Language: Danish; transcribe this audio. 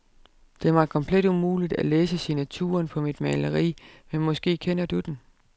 Det er mig komplet umuligt at læse signaturen på mit maleri, men måske kender du den.